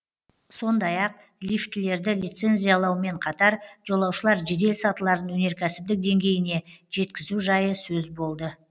сондай ақ лифтілерді лицензиялаумен қатар жолаушылар жедел сатыларын өнеркәсіптік деңгейіне жеткізу жайы сөз болды